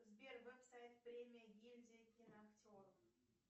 сбер веб сайт премия гильдии киноактеров